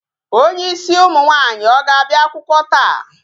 Onye ịsị ụmụ akwụkwọ nwaanyi ọ ga-abịa akwụkwọ taa?